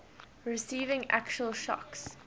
receiving actual shocks